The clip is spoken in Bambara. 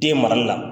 Den marali la